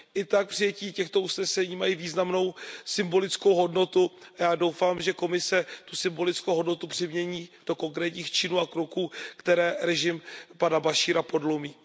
I tak přijetí těchto usnesení mají významnou symbolickou hodnotu a já doufám, že Komise tu symbolickou hodnotu přemění do konkrétních činů a kroků, které režim pana Bašíra podlomí.